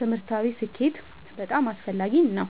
ትምህርታዊ ስኬት በጣም አስፈላጊ ነው።